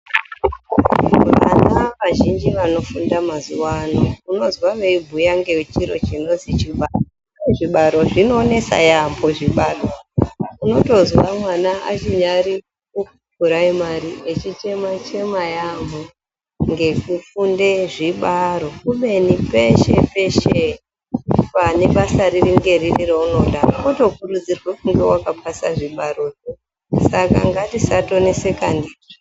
Vana vazhinji vanofunda mazuwa ano unozwa veibhuya ngechiro chinozwi chibaro. Zvibaro zvinonesa yaampho zvibaro. Unotozwa mwana achinyari kupuraimari echichema -chema yaampho ngekufunde zvibaro. kubeni peshe peshe pane basa riri ngeriri reunoda unotokurudzirwe kunga wakapasa zvibaro. Saka ngatisatoneseka ndizvo.